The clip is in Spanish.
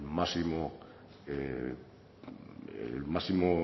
el máximo